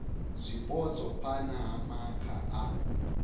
zwipotso phana ha maga a